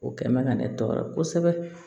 O kɛ man ka ne tɔɔrɔ kosɛbɛ